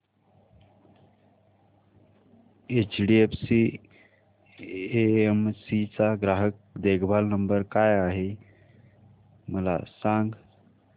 HDFC AMC चा ग्राहक देखभाल नंबर काय आहे मला सांग